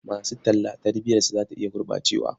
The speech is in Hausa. Masu talla tarbiyarsu za ta iya gurɓacewa.